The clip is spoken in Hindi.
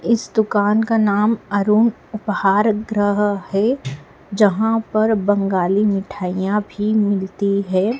इस दुकान का नाम अरुण उपहार ग्रह है जहां पर बंगाली मिठाईयां भी मिलती हैं।